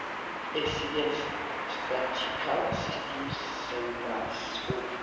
accident statistical system samrass o